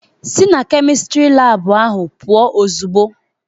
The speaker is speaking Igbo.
Sị na Kemịstịrị laabụ ahụ pụọ ozigbo!